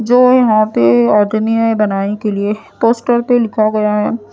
जो यहां पे बनाने के लिए पोस्टर पे लिखा गया है।